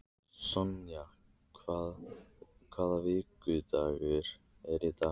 Sonja, hvaða vikudagur er í dag?